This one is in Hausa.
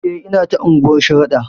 E, nata unguwar Sharaɗa.